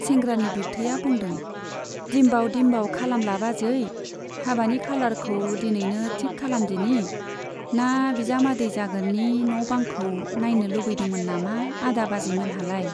सेंग्रानि बिबथैया बुंदों, दिम्बाव दिम्बाव खालामला बाजै, हाबानि खालारखौ दिनैनो थिक खालामदिनि, ना बिजामादै जागोननि न' बांखौ नाइनो लुबैदोंमोन नामा आदा बाजैमोनहालाय ?